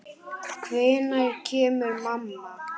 Hvenær kemur mamma?